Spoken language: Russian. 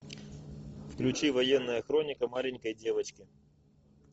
включи военная хроника маленькой девочки